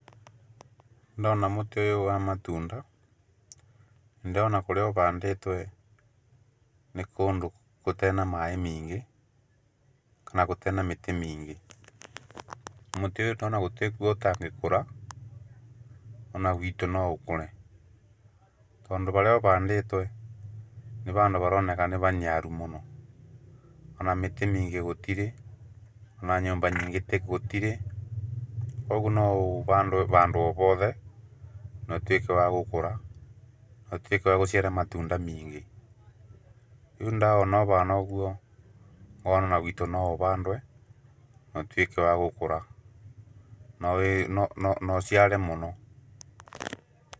Ndona mũtĩ ũyũ wa matunda ndĩrona kũndũ kũrĩa ũhandĩtwo nĩ kũndũ gũtarĩ na maaĩ maingĩ kana gũtarĩ na mĩtĩ mĩingĩ. Mũtĩ ũyũ gũtirĩ handũ ũtangĩkũra ona gwĩtu no ũkũre. Tondũ harĩa ũhandĩtwo nĩ handũ haroneka nĩ handũ haniaru mũno, ona mĩtĩ mĩingĩ gũtirĩ ona nyũmba nyingĩ gũtirĩ. Koguo no ũhandwo handũ o hothe na ũtuĩke wa gũkũra na wagũciara matunda maingĩ. Koguo ndawona ũhana ũguo ngona ona gwĩtũ no ũhandwe na ũtuĩke wa gũkũra na ũciare mũno.